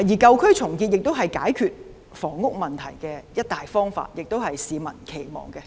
舊區重建亦是解決房屋問題的一大方法，亦是市民所期望的。